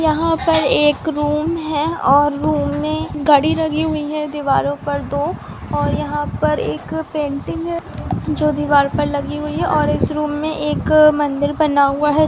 यहाँ पर एक रूम है और रूम में घडी लगी हुई है दीवारों पर दो और यहाँ पर एक अ पेंटिंग है जो दीवार पर लगी हुई है और इस रूम में एक अ मंदिर बना हुआ है।